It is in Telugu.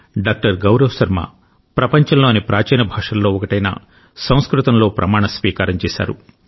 డాక్టర్ గౌరవ్ శర్మ ప్రపంచంలోని ప్రాచీన భాషలలో ఒకటైన సంస్కృతంలో ప్రమాణ స్వీకారం చేశారు